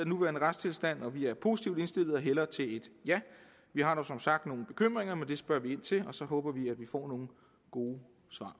nuværende retstilstand og vi er positivt indstillet og hælder til et ja vi har dog som sagt nogle bekymringer men dem spørger vi ind til og så håber vi at vi får nogle gode